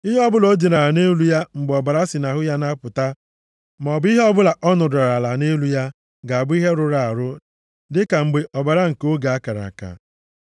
Ihe ọbụla o dinara nʼelu ya mgbe ọbara si ya nʼahụ na-apụta, maọbụ ihe ọbụla ọ nọdụrụ ala nʼelu ya, ga-abụ ihe rụrụ arụ, dịka mgbe ọbara nke oge a kara aka.